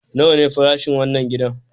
Nawa ne fasashin wannan gidan?